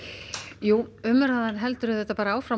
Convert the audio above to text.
jú umræðan heldur áfram